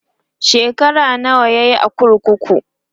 shekara nawa yayi a kurkuku?